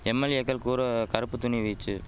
எம்எல்ஏக்கள் கூற கறுப்புத்துணி வீச்சு